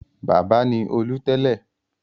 Bábà ni Olú tẹ́lẹ̀.